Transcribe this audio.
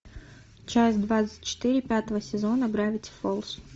часть двадцать четыре пятого сезона гравити фолз